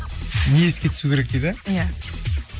не еске түсу керек дейді иә